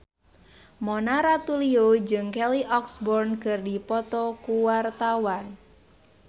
Mona Ratuliu jeung Kelly Osbourne keur dipoto ku wartawan